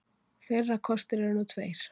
Þeirra kostir eru nú tveir